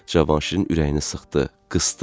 Cavanşirin ürəyini sıxdı, qısdı.